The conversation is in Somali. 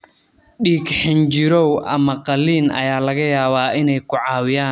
Dhiig-xinjirow ama qalliin ayaa laga yaabaa inay ku caawiyaan xaaladahan qaarkood.